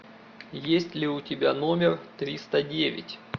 есть ли у тебя номер триста девять